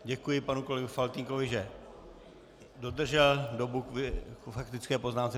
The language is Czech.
Děkuji panu kolegovi Faltýnkovi, že dodržel dobu k faktické poznámce.